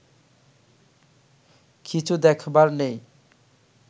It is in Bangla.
কিছু দেখবার নেই